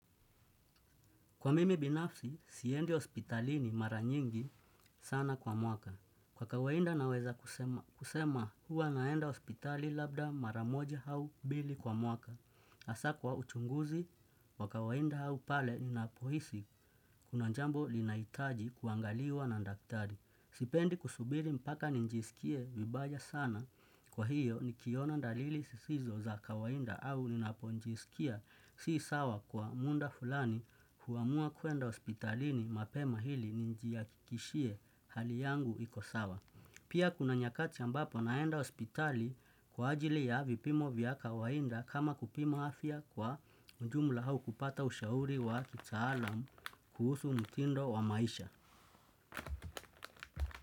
Kwa mimi binafsi, siendi hospitalini mara nyingi sana kwa mwaka. Kwa kawaida naweza kusema, kusema huwa naenda hospitali labda mara moja au mbili kwa mwaka. Hasaa kwa uchunguzi, kwa kawaida au pale ninapohisi, kuna jambo linaitaji kuangaliwa na daktari. Sipendi kusubiri mpaka nijisikie vibaya sana kwa hiyo nikiona dalili zisizo za kawaida au ninapojisikia si sawa kwa muda fulani huamua kuenda hospitalini mapema hili nijihakikishie hali yangu ikosawa. Pia kuna nyakati ambapo naenda hospitali kwa ajili ya vipimo vya kawaida kama kupima afia kwa ujumla au kupata ushauri wa kitaalam kuhusu mtindo wa maisha.